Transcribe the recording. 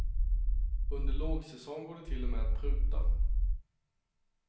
Under lågsäsong går det till och med att pruta.